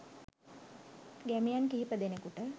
ගැමියන් කිහිපදෙනෙකුට